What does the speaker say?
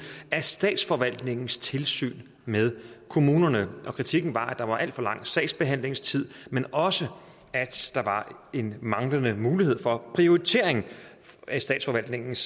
af statsforvaltningens tilsyn med kommunerne kritikken var at der var alt for lang sagsbehandlingstid men også at der var en manglende mulighed for prioritering af statsforvaltningens